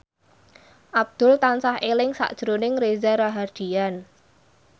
Abdul tansah eling sakjroning Reza Rahardian